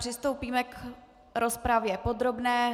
Přistoupíme k rozpravě podrobné.